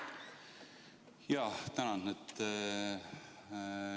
Jaa, tänan!